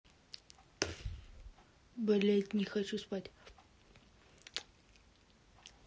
блядь не хочу спать